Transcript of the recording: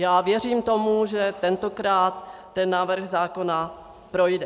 Já věřím tomu, že tentokrát ten návrh zákona projde.